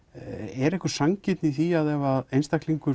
er sanngirni í því að ef einstaklingur